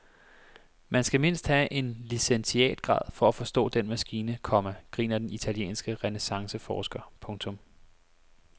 Man skal mindst have en licentiatgrad for at forstå den maskine, komma griner den italienske renæssanceforsker. punktum